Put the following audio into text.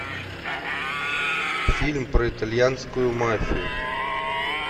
фильм про итальянскую мафию